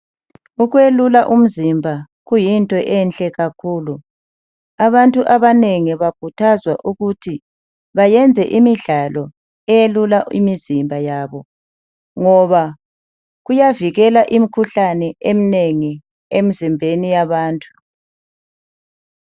Ukwelula umzimba kuyinto enhle kakhulu abantu abanengi bakhuthazwa ukuthi bayenze imidlalo eyelula imizimba yabo ngoba kuyavikela imikhuhlane eminengi emizimbeni yabantu.